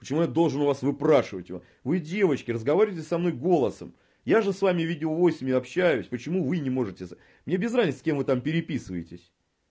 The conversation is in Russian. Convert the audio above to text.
почему я должен у вас выпрашивать вы девочки разговаривали со мной голосом я же с вами видео войсами общаюсь почему вы не можете мне без разницы с кем вы там переписываетесь